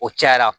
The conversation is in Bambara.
O cayara